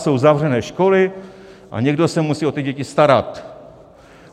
Jsou zavřené školy a někdo se musí o ty děti starat.